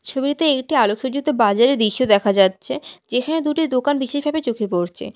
ছবিতে একটি আলোকসজ্জিত বাজারের দৃশ্য দেখা যাচ্ছে যেখানে দুটি দোকান বিশেষভাবে চোখে পরছে।